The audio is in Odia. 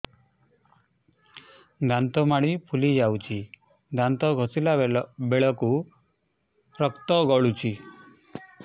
ଦାନ୍ତ ମାଢ଼ୀ ଫୁଲି ଯାଉଛି ଦାନ୍ତ ଘଷିଲା ବେଳକୁ ରକ୍ତ ଗଳୁଛି